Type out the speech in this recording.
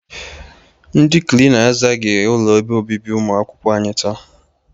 Ndị Klina azaaghị ụlọ ebe obibi ụmụakwụkwọ anyị taa.